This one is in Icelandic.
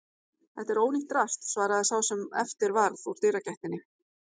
Þetta er ónýtt drasl svaraði sá sem eftir varð úr dyragættinni.